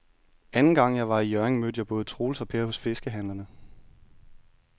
Anden gang jeg var i Hjørring, mødte jeg både Troels og Per hos fiskehandlerne.